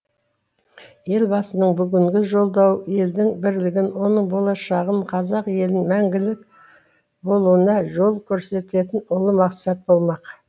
елбасының бүгінгі жолдауы елдің бірлігін оның болашағын қазақ елінің мәңгілік болуына жол көрсететін ұлы мақсат болмақ